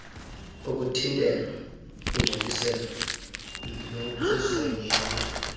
ukuthintelwa kongcoliseko nokusengelwa